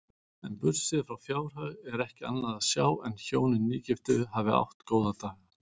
En burtséð frá fjárhag er ekki annað sjá en hjónin nýgiftu hafi átt góða daga.